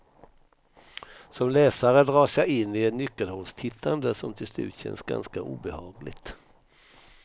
Som läsare dras jag in i ett nyckelhålstittande som till slut känns ganska obehagligt.